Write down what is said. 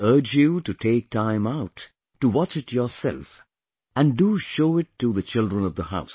I urge you to take time out to watch it yourself and do show it to the children of the house